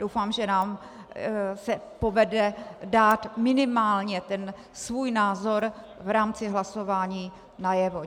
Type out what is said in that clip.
Doufám, že se nám povede dát minimálně ten svůj názor v rámci hlasování najevo.